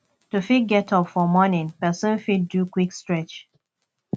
to fit get up for morning person fit do quick stretch